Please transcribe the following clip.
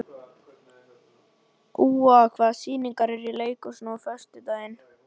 Úa, hvaða sýningar eru í leikhúsinu á föstudaginn?